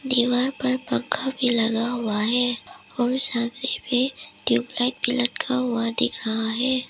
दीवार पर पंखा भी लगा हुआ है और सामने में ट्यूबलाइट भी लटका हुआ दिख रहा है।